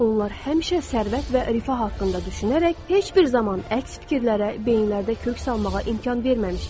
Onlar həmişə sərvət və rifah haqqında düşünərək heç bir zaman əks fikirlərə beyinlərində kök salmağa imkan verməmişdilər.